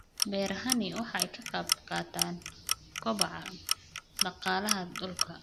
Beerahani waxa ay ka qayb qaataan kobaca dhaqaalaha dalka.